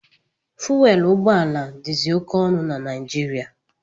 Fuwelu ụgbọala dizi oke ọnụ na Naijiriia.